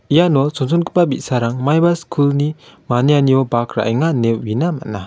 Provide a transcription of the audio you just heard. iano chonchongipa bi·sarang maiba skulni manianio bak ra·enga ine uina man·a.